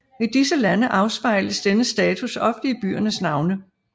I disse lande afspejles denne status ofte i byernes navne